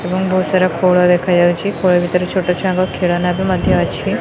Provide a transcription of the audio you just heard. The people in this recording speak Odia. ଏବଂ ବହୁତ୍ ସାରା ଖୋଳ ଦେଖାଯାଉଛି ଖୋଳ ଭିତରେ ଛୋଟ ଛୁଆଙ୍କ ଖେଳନା ବି ମଧ୍ୟ ଅଛି।